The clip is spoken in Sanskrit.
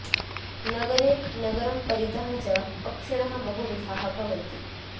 नगरे नगरं परितः च पक्षिणः बहु विधाः भवन्ति